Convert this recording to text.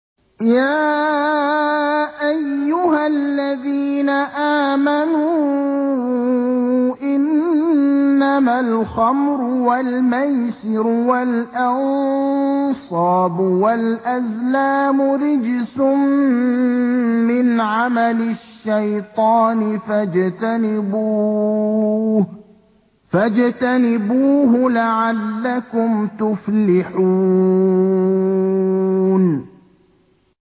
يَا أَيُّهَا الَّذِينَ آمَنُوا إِنَّمَا الْخَمْرُ وَالْمَيْسِرُ وَالْأَنصَابُ وَالْأَزْلَامُ رِجْسٌ مِّنْ عَمَلِ الشَّيْطَانِ فَاجْتَنِبُوهُ لَعَلَّكُمْ تُفْلِحُونَ